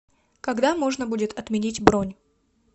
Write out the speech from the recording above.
когда можно будет отменить бронь